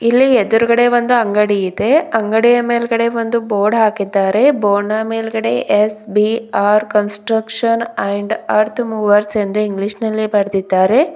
ಇಲ್ಲಿ ಎದ್ರುಗಡೆ ಒಂದು ಅಂಗಡಿ ಇದೆ ಅಂಗಡಿಯ ಮೇಲೆ ಬಂದು ಬೋರ್ಡ್ ಹಾಕಿದ್ದಾರೆ ಬೋರ್ಡ್ನ ಮೇಲ್ಗಡೆ S B R construction and earth movers ಎಂದು ಇಂಗ್ಲಿಷ್ ನಲ್ಲಿ ಬರೆದಿದ್ದಾರೆ.